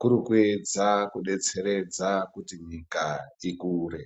kuri kuedza kudetseredza kuti nyika dzikure.